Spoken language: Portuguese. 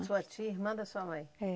A sua tia, irmã da sua mãe? É